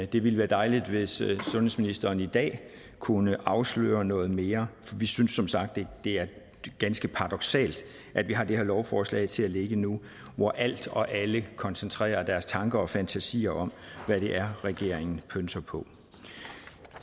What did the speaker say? det ville være dejligt hvis sundhedsministeren i dag kunne afsløre noget mere for vi synes som sagt det er ganske paradoksalt at vi har det her lovforslag til at ligge nu hvor alt og alle koncentrerer deres tanker og fantasier om hvad det er regeringen pønser på